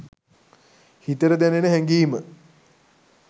හිතට දැනෙන හැඟීම